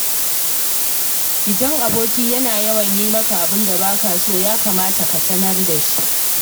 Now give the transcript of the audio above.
Idan aboki yana yawan yi maka abin da ba ka so, ya kamata ka sanar da shi.